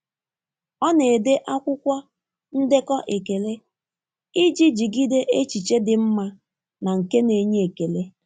Ọ na-ede n'akwụkwọ ndekọ ekele iji jigide echiche dị mma na nke na-enye ekele.